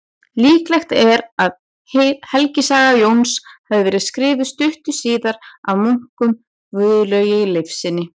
Líklegt er að helgisaga Jóns hafi verið skrifuð stuttu síðar af munknum Gunnlaugi Leifssyni.